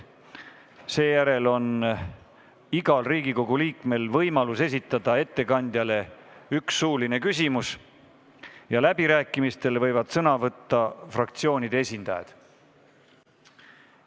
Seejärel on igal Riigikogu liikmel võimalik esitada ettekandjale üks suuline küsimus, läbirääkimistel võivad sõna võtta fraktsioonide esindajad.